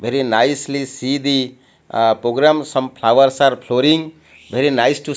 very nicely see the ah programs some flowers are floring very nice to --